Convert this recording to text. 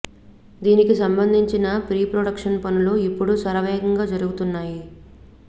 దీనికి సంబంధించిన pre production పనులు ఇప్పుడు శర వేగంగా జరుగుతున్నాయి